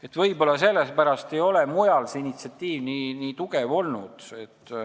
Aga võib-olla sellepärast ei ole mujal nii tugevat initsiatiivi olnud.